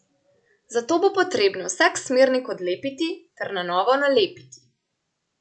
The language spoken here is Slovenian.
Zato bo potrebno vsak smernik odlepiti ter na novo nalepiti.